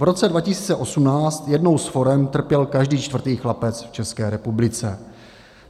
V roce 2018 jednou z forem trpěl každý čtvrtý chlapec v České republice.